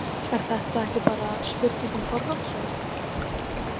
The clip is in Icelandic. Er þetta ekki bara spurning um forgangsröðun?